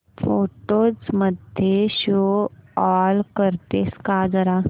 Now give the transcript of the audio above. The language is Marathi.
फोटोझ मध्ये शो ऑल करतेस का जरा